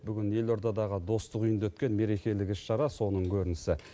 бүгін елордадағы достық үйінде өткен мерекелік іс шара соның көрінісі